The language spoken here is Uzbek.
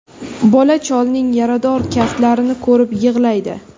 Bola cholning yarador kaftlarini ko‘rib yig‘laydi.